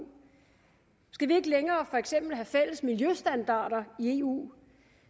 skal vi ikke længere have fælles miljøstandarder i eu